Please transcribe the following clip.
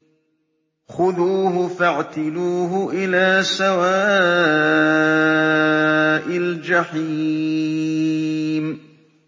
خُذُوهُ فَاعْتِلُوهُ إِلَىٰ سَوَاءِ الْجَحِيمِ